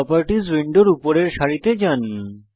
properties উইন্ডোর উপরের সারিতে যান